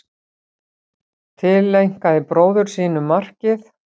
Tileinkaði bróður sínum markið